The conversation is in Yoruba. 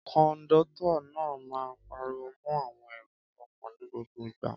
Kọ̀ńdọ́tọ̀ náà máa ń pariwo mọ́ àwọn èrò-ọkọ̀ ní gbogbo ìgbà.